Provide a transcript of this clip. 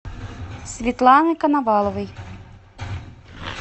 светланы коноваловой